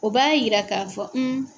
O b'a yira k'a fɔ